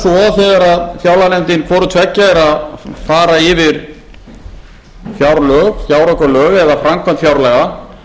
svo þegar fjárlaganefndin hvorutveggja er að fara yfir fjárlög fjáraukalög eða framkvæmd fjárlaga